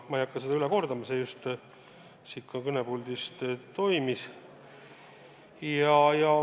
Ma ei hakka seda üle kordama, see toimus just ka siin kõnepuldis.